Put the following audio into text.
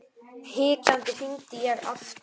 Hikandi hringdi ég aftur.